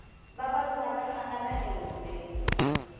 vavanuna va hlangana e hubyeni